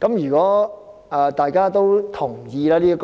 如果議員同意這是